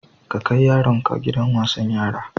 Ka kai yaronka gidan wasan yara.